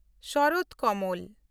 ᱥᱚᱨᱚᱛ ᱠᱚᱢᱚᱞ